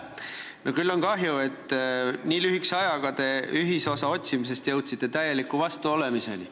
No küll on kahju, et te nii lühikese ajaga jõudsite ühisosa otsimisest täieliku vastuolemiseni.